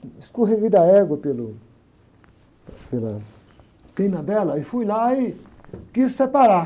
Escorreguei da égua pelo, pela crina dela e fui lá e quis separar.